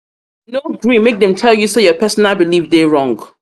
no gree make dem tell you sey your personal belif dey wrong.